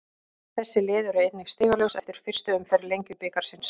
Þessi lið eru einnig stigalaus eftir fyrstu umferð Lengjubikarsins.